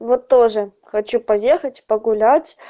вот тоже хочу поехать погулять